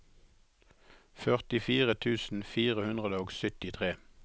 førtifire tusen fire hundre og syttitre